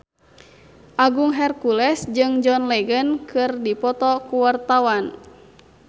Agung Hercules jeung John Legend keur dipoto ku wartawan